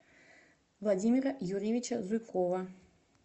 владимира юрьевича зуйкова